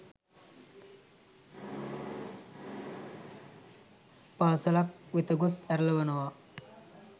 පාසැලක් වෙත ගොස් ඇරලනවා.